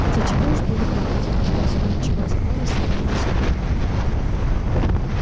хотя чего уж было плакать когда всего ничего оставалось в сравнении с отбытым